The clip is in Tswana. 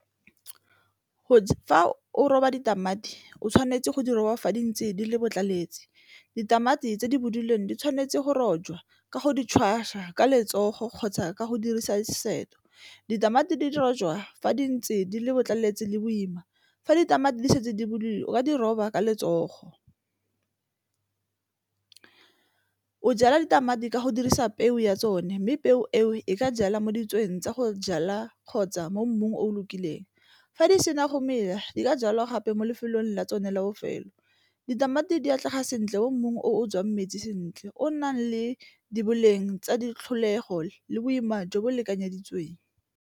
Fa o roba ditamati, o tshwanetse go di roba fa di ntse di le . Ditamati tse di badilweng di tshwanetse go rojwa ka go tshwara ka letsogo kgotsa ka go dirisa setso, ditamati di dirwa jwa fa di ntse di le bo le boima. Fa ditamati di setse di bodile, o ka di roba ka letsogo o jala ditamati ka go dirisa peo ya tsone mme peo eo e ka jala mo tsa go jala kgotsa mo mmung o lokileng. Fa di sena go mela di ka jalwa gape mo lefelong la tsone la bofelo, ditamati di atlega sentle mo mmung o o tswang metsi sentle, o o nnang le boleng tsa di tlholego le boima jo bo lekanyeditsweng.